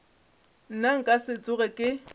nna nka se tsoge ke